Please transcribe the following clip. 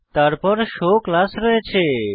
তারপর show class রয়েছে